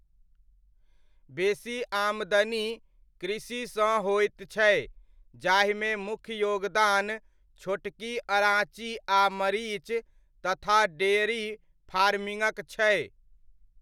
बेसी आमदनी कृषिसँ होइत छै जाहिमे मुख्य योगदान छोटकी अड़ाँची आ मरीच तथा डेयरी फार्मिङ्गक छै।